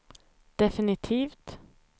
definitivt